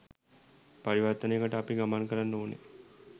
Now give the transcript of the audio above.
පරිවර්තනයකට අපි ගමන් කරන්න ඕන.